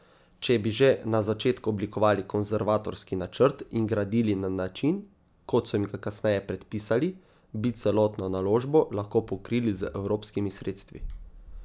Če bi že na začetku oblikovali konservatorski načrt in gradili na način, kot so jim ga kasneje predpisali, bi celotno naložbo lahko pokrili z evropskimi sredstvi.